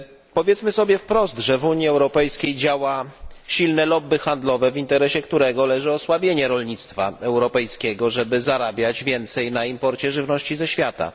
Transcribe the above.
Powiedzmy sobie wprost, że w Unii Europejskiej działa silne lobby handlowe, w interesie którego leży osłabienie rolnictwa europejskiego, żeby zarabiać więcej na imporcie żywności ze świata.